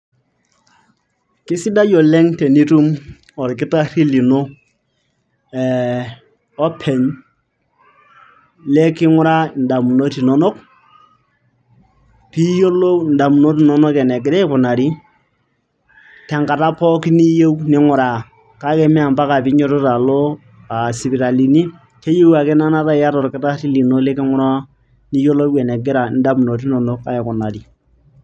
Kesidae oleng' tenitum orkitarri lino, eh openy, leking'uraa indamunot inonok, piyiolou indamunot inonok enegira aikunari tenkata pookin niyieu ning'uraa. Kake me mpaka ninyototo alo sipitalini. Keyieu ake na enaata yata olkitarri lino liking'uraa piyiolou enegira indamunot inonok aikunari.